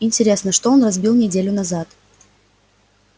интересно что он разбил неделю назад